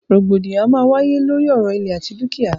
Rògbòdìyàn a máa wáyé lóri ọ̀rọ̀ ìlẹ̀ àti dúkìá.